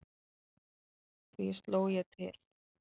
Því sló ég til.